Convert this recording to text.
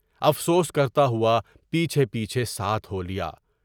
افسوس کرتا ہوا پیچھے پیچھے ساتھ ہولیَا۔